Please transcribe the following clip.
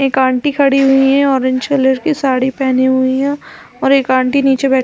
एक आंटी खड़ी हुई है ऑरेंज कलर की साड़ी पेहनी हुई है और एक आंटी नीचे बैठी--